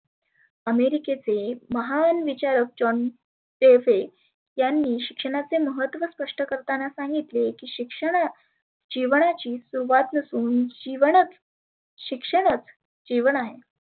अमेरिकेचे महान विचारक Johon Caffe यांनी शिक्षणाचे महत्व स्पष्ट करताना सांगितले की शिक्षणा जिवणाची सुरुवात असुन जिवनच शिक्षणच जिवन आहे.